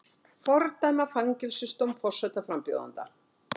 Fordæma fangelsisdóm forsetaframbjóðanda